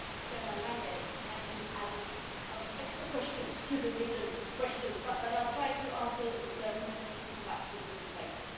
Mr Lange kindly added some extra questions to the written questions, so I will try to answer them and then we can come back to it in the debate.